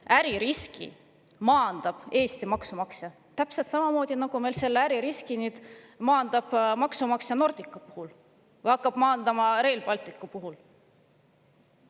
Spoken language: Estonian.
Ka äririski maandab Eesti maksumaksja: täpselt samamoodi maandab meil äririski maksumaksja Nordica puhul ja hakkab maandama Rail Balticu puhul.